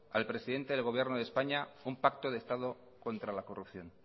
al presidente del gobierno de españa un pacto de estado contra la corrupción